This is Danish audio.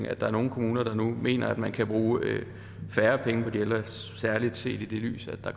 at der er nogle kommuner der nu mener at man kan bruge færre penge på de ældre særlig set i det lys at der